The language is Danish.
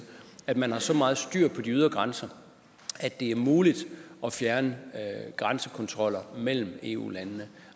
at man har så meget styr på de ydre grænser at det er muligt at fjerne grænsekontroller mellem eu landene